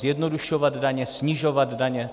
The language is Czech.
Zjednodušovat daně, snižovat daně.